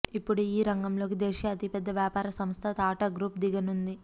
ఇపుడు ఈ రంగంలోకి దేశీయ అతిపెద్ద వ్యాపార సంస్థ టాటా గ్రూపు దిగనుంది